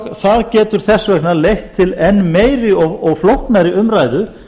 það getur þess vegna leitt til enn meiri og flóknari umræðu